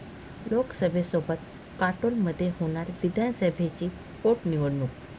लोकसभेसोबत काटोलमध्ये होणार विधानसभेची पोटनिवडणूक